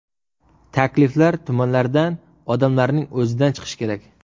Takliflar tumanlardan, odamlarning o‘zidan chiqishi kerak.